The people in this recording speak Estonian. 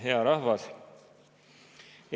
Hea rahvas!